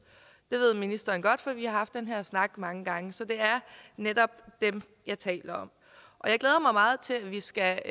det ved ministeren godt for vi har haft den her snak mange gange så det er netop dem jeg taler om og jeg glæder mig meget til at vi skal